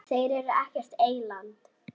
Þeir eru ekkert eyland.